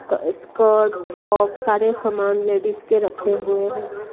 क skirt top सारे सामान लेडीज के रखे हुए हैं।